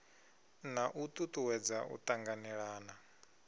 na u tutuwedza u tanganelana